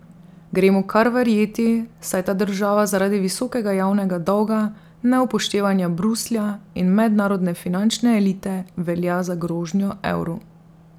Gre mu kar verjeti, saj ta država zaradi visokega javnega dolga, neupoštevanja Bruslja in mednarodne finančne elite velja za grožnjo evru.